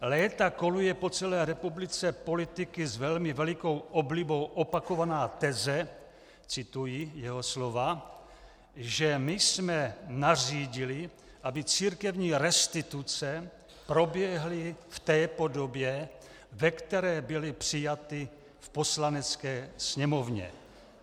"Léta koluje po celé republice politiky s velmi velikou oblibou opakovaná teze," cituji jeho slova, "že my jsme nařídili, aby církevní restituce proběhly v té podobě, ve které byly přijaty v Poslanecké sněmovně.